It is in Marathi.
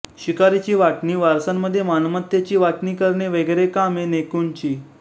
शिकारीची वाटणी वारसांध्ये मालमत्तेची वाटणी करणे वगैरे कामे नेकुनची